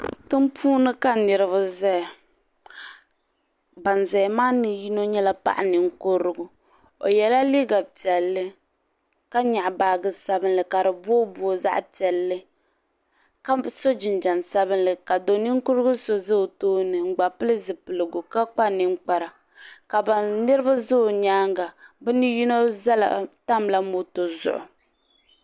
Tiŋpuuni ka niriba zaya ban zaya maa ni yino nyɛla paɣa ninkurigu o yela liiga piɛlli ka nyaɣi baaji sabinli ka di booboogi zaɣa piɛlli ka so jinjiɛm sabinli ka do ninkurigu so za o tooni n gba pili zipiligu ka kpa ninkpara ka ban niriba za o nyaanga bɛ ni yino tamla moto zuɣu.